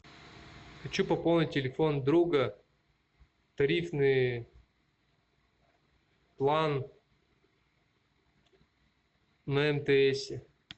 хочу пополнить телефон друга тарифный план на мтсе